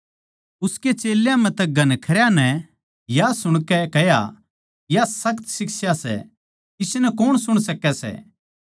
उसके चेल्यां म्ह तै घणखरा नै या सुणकै कह्या या सख्त शिक्षा सै इसनै कौण सुण सकै सै